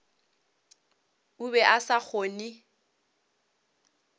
o be a sa kgone